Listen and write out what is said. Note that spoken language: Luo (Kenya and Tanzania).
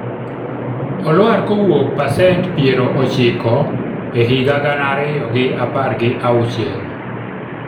olwar kowuok pasent piero ochiko e higa gana ariyo gi apar gi auchiel